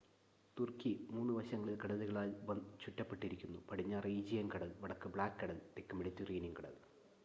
തുർക്കി 3 വശങ്ങളിൽ കടലുകളാൽ ചുറ്റപ്പെട്ടിരിക്കുന്നു പടിഞ്ഞാറ് ഈജിയൻ കടൽ വടക്ക് ബ്ലാക്ക് കടൽ തെക്ക് മെഡിറ്ററേനിയൻ കടൽ